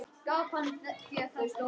Gaf hann þér þetta?